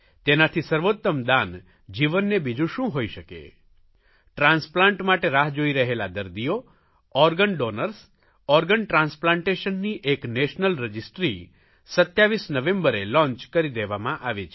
તેનાથી સર્વોત્તમ દાન જીવનને બીજું શું હોઇ શકે ટ્રાન્સપ્લાન્ટ માટે રાહ જોઇ રહેલા દર્દીઓ ઓર્ગન ડોનર્સ ઓર્ગન ટ્રાન્સપ્લાન્ટેશનની એક નેશનલ રજિસ્ટ્રી 27 નવેમ્બરે લોંચ કરી દેવામાં આવી છે